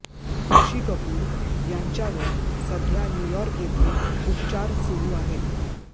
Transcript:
ऋषी कपूर यांच्यावर सध्या न्यूयॉर्क येथे उपचार सुरू आहेत